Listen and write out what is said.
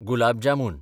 gulab jamun